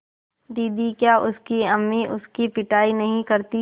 दीदी क्या उसकी अम्मी उसकी पिटाई नहीं करतीं